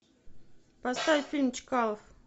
поставь фильм чкалов